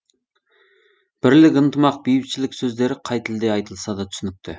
бірлік ынтымақ бейбітшілік сөздері қай тілде айтылса да түсінікті